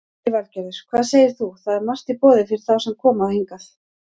Lillý Valgerður: Hvað segir þú, það er margt í boði fyrir þá sem koma hingað?